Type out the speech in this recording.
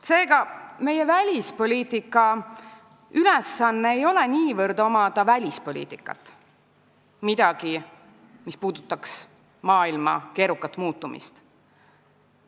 Seega ei ole meie välispoliitika ülesanne niivõrd omada välispoliitikat kui midagi, mis puudutaks maailma keerukat muutumist.